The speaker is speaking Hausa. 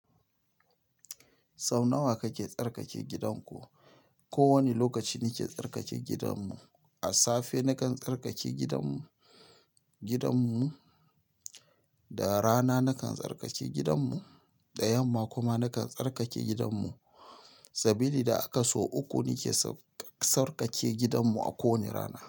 Sau nawa kake tsarkake gidanku? Ko wani lokaci nake tsarkake gidanmu. A safe nakan tsarkake gidanmu, gidanmu, da rana nakan tsarkake gidanmu, da yamma kuma nakan tsarkake gidanmu. Sabili da kaso uku nake sarkake gidanmu a kowane rana.